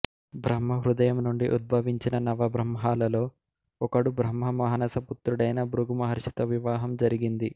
బ్రహ్మ హృదయము నుండి ఉద్భవించిన నవబ్రహ్మలలో ఒకడు బ్రహ్మ మానస పుత్రుడైన భృగు మహర్షితో వివాహం జరిగింది